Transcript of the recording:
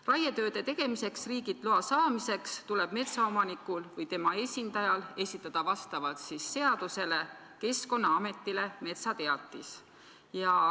" Raietööde tegemiseks riigilt loa saamiseks tuleb metsaomanikul või tema esindajal seaduse kohaselt esitada Keskkonnaametile metsateatis.